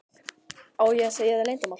Á ég að segja þér leyndarmál?